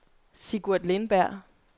Sigurd Lindberg